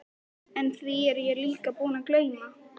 En því er ég líka búinn að gleyma.